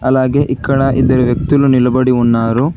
అలాగే ఇక్కడ ఇద్దరు వ్యక్తులు నిలబడి ఉన్నారు.